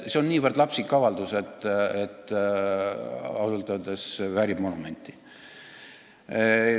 See on niivõrd lapsik avaldus, et ausalt öeldes vääriks monumenti.